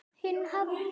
Hinn hefði